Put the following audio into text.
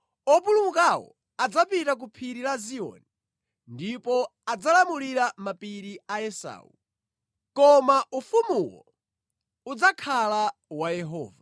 Opulumukawo adzapita ku Phiri la Ziyoni ndipo adzalamulira mapiri a Esau. Koma ufumuwo udzakhala wa Yehova.